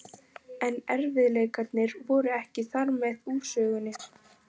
En erfiðleikarnir voru ekki þarmeð úr sögunni.